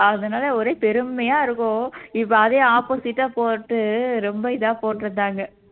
அதனால ஒரே பெருமையா இருக்கும் இப்ப அதே opposite ஆ போட்டு ரொம்ப இதா போட்டு இருந்தாங்க